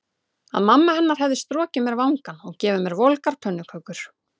Að mamma hennar hefði strokið mér vangann og gefið mér volgar pönnukökur.